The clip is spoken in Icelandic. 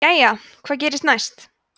jæja hvað gerist næst